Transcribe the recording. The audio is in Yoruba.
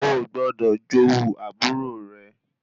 Oò gbọdọ̀ jowú àbúrò rẹ